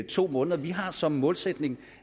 to måneder vi har som målsætning